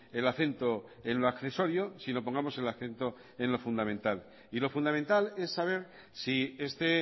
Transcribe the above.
el acento en lo accesorio sino pongamos el acento en lo fundamental y lo fundamental es saber si este